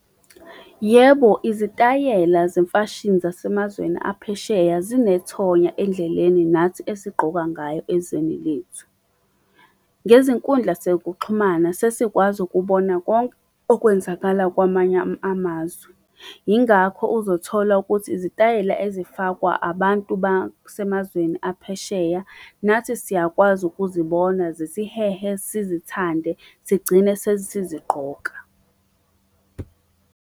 Yebo izitayela zemfashini zasemazweni aphesheya zinethoya endleleni nathi esigqoka ngayo ezweni lethu. Ngezinkundla zokuxhumana sesikwazi ukubona konke okwenzakala kwamanye amazwe. Yingakho uzothola ukuthi izitayela ezifakwa abantu basemazweni aphesheya nathi siyakwazi ukuzibona zisihehe sizithande sigcine sesizigqoka.